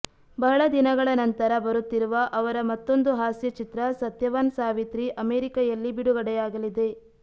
ಬಹಳದಿನಗಳ ನಂತರ ಬರುತ್ತಿರುವ ಅವರ ಮತ್ತೊಂದು ಹಾಸ್ಯ ಚಿತ್ರ ಸತ್ಯವಾನ್ ಸಾವಿತ್ರಿ ಅಮೆರಿಕೆಯಲ್ಲಿ ಬಿಡುಗಡೆಯಾಗಲಿದೆ